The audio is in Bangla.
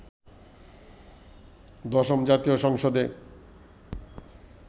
দশম জাতীয় সংসদে